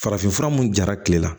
Farafinfura mun jara kile la